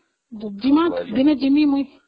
ଦିନେ ମୁଁ ଯିବି